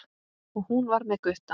Og hún var með Gutta!